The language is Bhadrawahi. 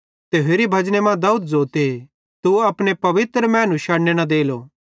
ते होरि भजने मां दाऊद ज़ोते तू अपने पवित्र मैनू शड़ने न देलो